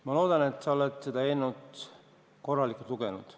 Ma loodan, et sa oled seda eelnõu korralikult lugenud.